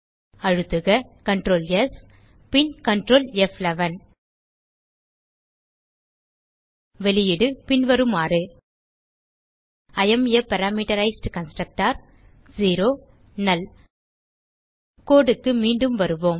அழுத்துக Ctrl S பின் Ctrl ப்11 வெளியீடு பின்வருமாறு இ ஏஎம் ஆ பாராமீட்டரைஸ்ட் கன்ஸ்ட்ரக்டர் நல் கோடு க்கு மீண்டும் வருவோம்